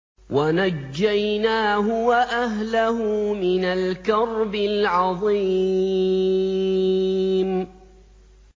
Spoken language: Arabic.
وَنَجَّيْنَاهُ وَأَهْلَهُ مِنَ الْكَرْبِ الْعَظِيمِ